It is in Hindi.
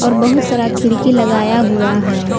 और बहुत सारा खिड़की लगाया हुआ है।